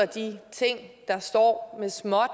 de ting der står med småt